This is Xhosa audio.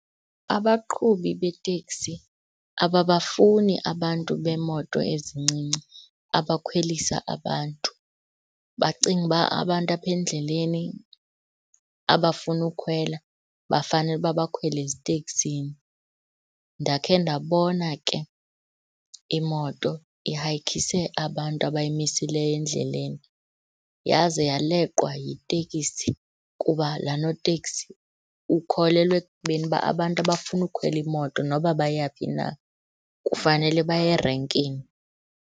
Abaqhubi beteksi ababafuni abantu beemoto ezincinci abakhwelisa abantu, bacinga uba abantu apha endleleni abafuna ukhwela bafanele uba bakhwele eziteksini. Ndakhe ndabona ke imoto ihayikhise abantu abayimisileyo endleleni yaze yaleqwa yiteksi kuba laa noteksi ukholelwa ekubeni uba abantu abafuna ukukhwela imoto noba bayaphi na kufanele baye erenkini.